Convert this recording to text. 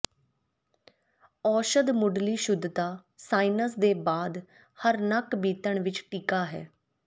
ਔਸ਼ਧ ਮੁੱਢਲੀ ਸ਼ੁਧਤਾ ਸਾਇਨਸ ਦੇ ਬਾਅਦ ਹਰ ਨੱਕ ਬੀਤਣ ਵਿੱਚ ਟੀਕਾ ਹੈ